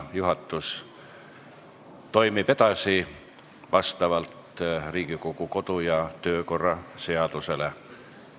Juhatus toimib edasi vastavalt Riigikogu kodu- ja töökorra seadusele.